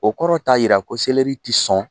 O kɔrɔ taa yira ko sɛlɛri tɛ sɔn.